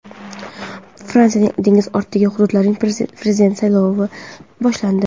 Fransiyaning dengiz ortidagi hududlarida prezident saylovi boshlandi.